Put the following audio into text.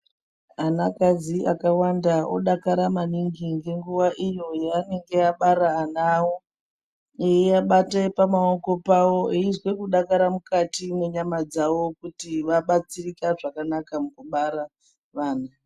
Anakadzi akawanda odakara maningi ngenguwa iyo yeanenge abara ana awo, eiabate pamaoko pawo eizwe kudakara mukati mwenyama dzavo, kuti vabatsirika zvakanaka mukubara vana.